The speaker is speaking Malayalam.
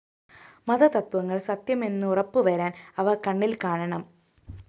മതതത്ത്വങ്ങള്‍ സത്യമെന്നുറപ്പുവരാന്‍ അവ കണ്ണില്‍ കാണണം